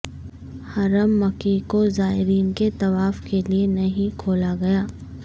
حرم مکی کوزائرین کے طواف کے لیے نہیں کھولاگیا